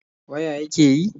Waya yake yi?